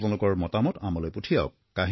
আপোনালোকৰ মতামত আমালৈ পঠিয়াওক